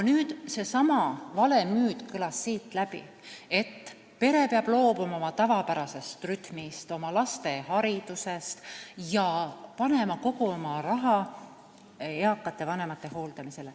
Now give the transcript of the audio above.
Nüüd, seesama vale müüt kõlas siit läbi, et pere peab loobuma oma tavapärasest rütmist, laste haridusest jne, ning panema kogu oma raha eakate vanemate hooldamisele.